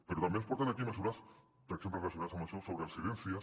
però també ens porten aquí mesures per exemple relacionades amb això sobre residències